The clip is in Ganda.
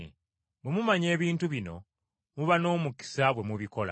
Bwe mumanya ebintu bino muba n’omukisa bwe mubikola.